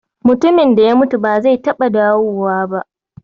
Mutumin da ya mutu ba zai taɓa dawowa ba